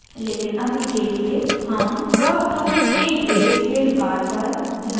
लेकिन अभी के लिए हम curve tool के gray scale bar पर ध्यान केंद्रित करेंगे